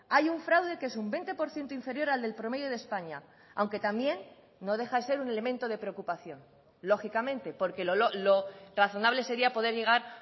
hay un fraude que es un veinte por ciento inferior al del promedio de españa aunque también no deja de ser un elemento de preocupación lógicamente porque lo razonable sería poder llegar